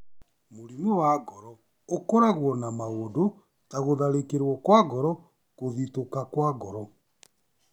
Mũrimũ wa ngoro ũkoragwo na maũndũ ta gũtharĩkĩrwo kwa ngoro, kũthitũka kwa ngoro,